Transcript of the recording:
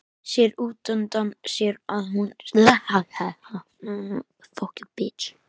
Sér útundan sér að hún seilist í vasa á sloppnum.